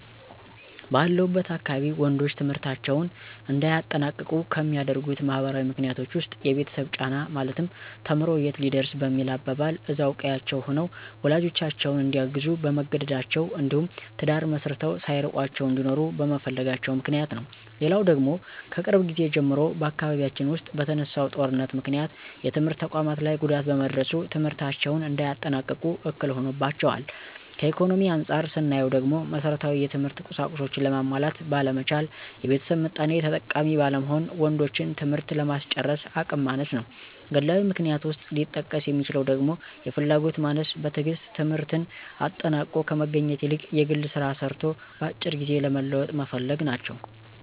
ባለሁበት አካባቢ ወንዶች ትምህርታቸውን እንዳያጠናቅቁ ከሚያደርጉት ማህበራዊ ምክንያቶች ዉስጥ፦ የቤተሰብ ጫና ማለትም ተምሮ የት ሊደርስ በሚል አባባል እዛው ቀዬአቸው ሆነው ወላጆቻቸውን እንዲያግዙ በመገደዳቸው እንዲሁም ትዳር መስርተው ሳይርቋቸው እንዲኖሩ በመፈለጋቸው ምክንያት ነው። ሌላው ደግሞ ከቅርብ ጊዜ ጀምሮ በአካባቢያችን ዉስጥ በተነሳው ጦርነት ምክንያት የትምህርት ተቋማት ላይ ጉዳት በመድረሱ ትምህርታቸውን እንዳያጠናቅቁ እክል ሆኖባቸዋል። ከኢኮኖሚ አንፃር ስናየው ደግሞ መሠረታዊ የትምህርት ቁሳቁሶችን ለማሟላት ባለመቻል፣ የቤተሰብ ምጣኔ ተጠቃሚ ባለመሆን ወንዶችን ትምህርት ለማስጨረስ አቅም ማነስ ነው። ግላዊ ምክንያት ውስጥ ሊጠቀስ የሚችለው ደግሞ የፍላጎት ማነስ፣ በትግስት ትምህርትን አጠናቆ ከመገኘት ይልቅ የግል ስራ ሰርቶ በአጭር ጊዜ ለመለወጥ መፈለግ ናቸው።